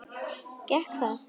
Gekk það?